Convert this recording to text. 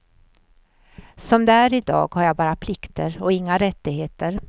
Som det är i dag har jag bara plikter och inga rättigheter.